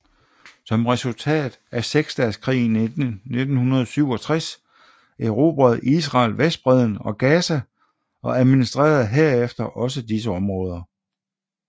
Som resultat af seksdageskrigen i 1967 erobrede Israel Vestbredden og Gaza og administrerede herefter også disse områder